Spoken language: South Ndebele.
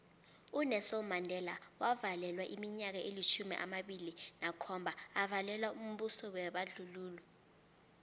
unelson mandela wavalelwa iminyaka elitjhumi amabili nakhomba avalelwa mbuso webandlululo